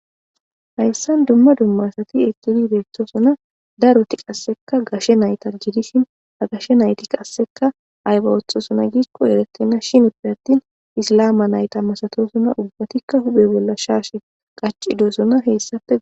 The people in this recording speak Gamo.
hayssan dumma dumma sati eqidi idettosona daroti qasseka gashe nayta jidishin agashe nayti qasseka ayba woththosona giikko eretenna shinippe attin islama nayta masatosuna ubbatikka hube bolla shaash qacidosona heyssafe